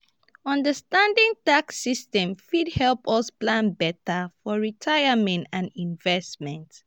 understanding tax systems fit help us plan beta for retirement and investments.